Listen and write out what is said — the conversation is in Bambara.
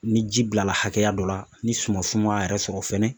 Ni ji bilala hakɛya dɔ la , ni suman sumaya yɛrɛ sɔrɔ fɛnɛ.